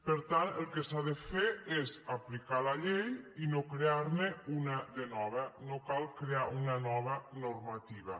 per tant el que s’ha de fer és aplicar la llei i no crear ne una de nova no cal crear una nova normativa